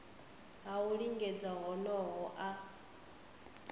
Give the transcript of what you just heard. ha u lingedza honoho a